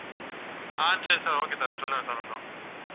ஆஹ் சரி sir, okay sir சொல்லுங்க sir கொஞ்சம்